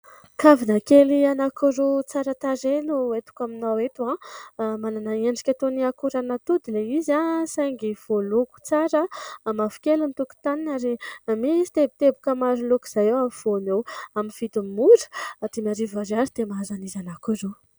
kavina kely anankiroa tsara tarehy no entiko aminao eto. Manana endrika toa ny akoran'atody ilay izy saingy voaloko tsara mavo kely ny tokontaniny ary na misy teboteboka maro loko izay toa voanio amin'ny vidiny mora atỳ na hariva ary azo dia mahazo anankiroa